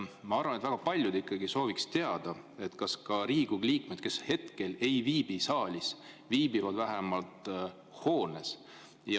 Ma arvan, et väga paljud ikkagi sooviksid teada, kas Riigikogu liikmed, kes hetkel saalis ei viibi, viibivad vähemalt hoones.